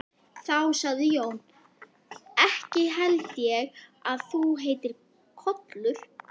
Þá sagði Jón: Ekki held ég að þú heitir Kollur.